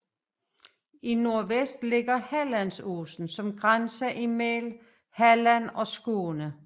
I nordvest ligger Hallandsåsen som grænse mellem Halland og Skåne